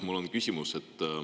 Mul on küsimus.